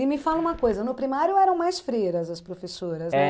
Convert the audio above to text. E me fala uma coisa, no primário eram mais freiras as professoras